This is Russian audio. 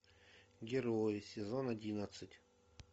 герои сезон одиннадцать